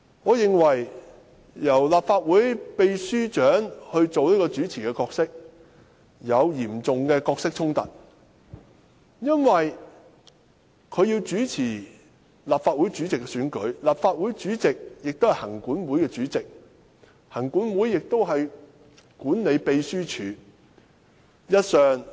我認為由立法會秘書長擔任主持，會有嚴重的角色衝突，因為立法會主席是行政管理委員會的主席，行政管理委員會管理秘書處。